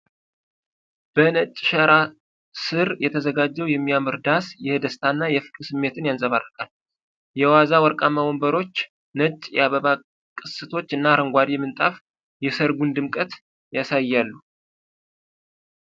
በነጭ ሸራ ስር የተዘጋጀው የሚያምር ዳስ የደስታና የፍቅር ስሜትን ያንፀባርቃል። የዋዛ ወርቃማ ወንበሮች፣ ነጭ የአበባ ቅስቶች እና አረንጓዴ ምንጣፍ የሠርጉን ድምቀት ያሳያሉ።